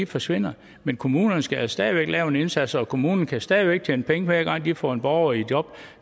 forsvinder men kommunerne skal stadig væk lave en indsats og en kommune kan stadig væk tjene penge hver gang den får en borger i job